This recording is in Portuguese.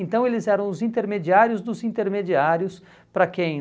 Então eles eram os intermediários dos intermediários para quem?